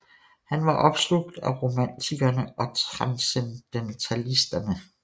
Han var opslugt af romantikerne og transcendentalisterne